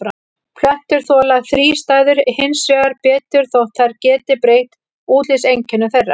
Plöntur þola þrístæður hins vegar betur þótt þær geti breytt útlitseinkennum þeirra.